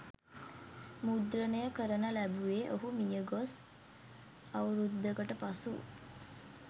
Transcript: මුද්‍රණය කරන ලැබුවේ ඔහු මියගොස් අවුරුද්දකට පසු